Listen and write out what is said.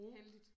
Heldigt